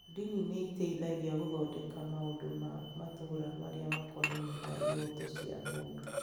Ndini nĩ iteithagia gũthondeka maũndũ ma matũũra marĩa makonainie na ihooto cia mũndũ.